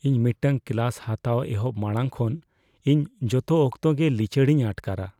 ᱤᱧ ᱢᱤᱫᱴᱟᱝ ᱠᱞᱟᱥ ᱦᱟᱛᱟᱣ ᱮᱦᱚᱵ ᱢᱟᱲᱟᱝ ᱠᱷᱚᱱ ᱤᱧ ᱡᱚᱛᱚ ᱚᱠᱛᱚ ᱜᱮ ᱞᱤᱪᱟᱹᱲᱤᱧ ᱟᱴᱠᱟᱨᱟ ᱾